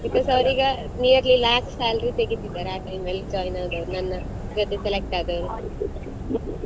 Because ಅವ್ರಿಗಾ nearly lakh salary ತೆಗಿತಿದ್ದಾರೆ ಆ time ಅಲ್ಲಿ join ಆದವ್ರು ನನ್ನ ಜೊತೆ select ಆದವರು.